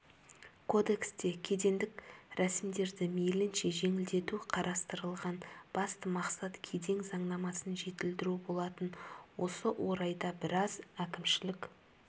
кодексте кедендік рәсімдерді мейлінше жеңілдету қарастырылған басты мақсат кеден заңнамасын жетілдіру болатын осы орайда біраз әкімшілік